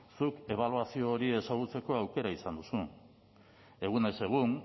zuk ebaluazio hori ezagutzeko aukera izan duzu egunez egun